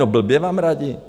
No, blbě vám radí!